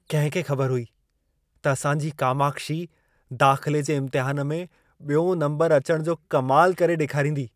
कहिं खे खबर हुई त असांजी कामाक्षी दाख़िले जे इम्तिहान में ॿियों नंबर अचण जो कमाल करे ॾेखारींदी?